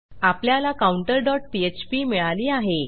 आपल्याला counterपीएचपी मिळाली आहे